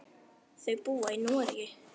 Þau búa í Noregi.